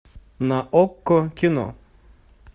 на окко кино